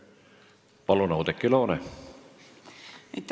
Palun, Oudekki Loone!